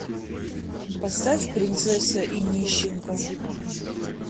поставь принцесса и нищенка